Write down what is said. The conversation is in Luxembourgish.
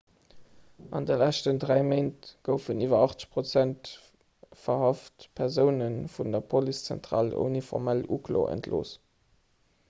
an de leschten 3 méint goufen iwwer 80 verhaft persoune vun der policezentral ouni formell uklo entlooss